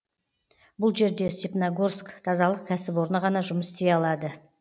бұл жерде степногорск тазалық кәсіпорны ғана жұмыс істей алады